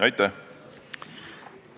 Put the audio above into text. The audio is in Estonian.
Aitäh!